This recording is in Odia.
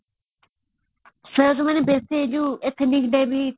athelate diary ହେଇଥିଲା